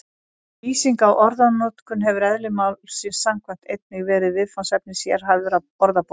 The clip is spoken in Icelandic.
Lýsing á orðanotkun hefur eðli málsins samkvæmt einnig verið viðfangsefni sérhæfðra orðabóka.